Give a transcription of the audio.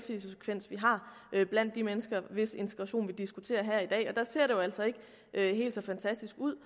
har har blandt de mennesker hvis integration vi diskuterer her i dag og der ser det jo altså ikke helt så fantastisk ud